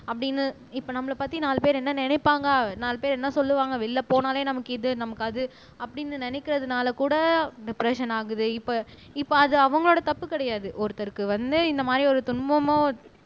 அப்படின்னு இப்ப நம்மளை பத்தி நாலு பேர் என்ன நினைப்பாங்க நாலு பேர் என்ன சொல்லுவாங்க வெளியில போனாலே நமக்கு இது நமக்கு அது அப்படின்னு நினைக்கிறதுனால கூட டிப்ரஸ்ஸன் ஆகுது இப்ப இப்ப அது அவங்களோட தப்பு கிடையாது ஒருத்தருக்கு வந்து இந்த மாதிரி ஒரு துன்பமோ